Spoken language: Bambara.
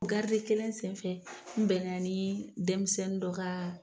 kelen senfɛ n bɛ na ni denmisɛnin dɔ kaaa.